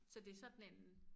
Så det sådan en